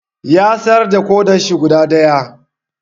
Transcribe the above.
Ya sayar da ƙodarshi guda ɗaya.